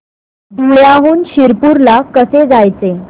धुळ्याहून शिरपूर ला कसे जायचे